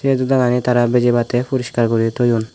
ei jodagani tara bijibattey poriskar gori toyan.